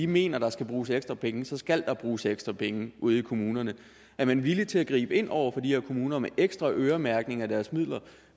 mener at der skal bruges ekstra penge så skal der bruges ekstra penge ude i kommunerne er man villig til at gribe ind over for de her kommuner med ekstra øremærkning af deres midler